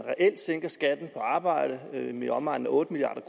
sænker reelt skatten på arbejde med i omegnen af otte milliard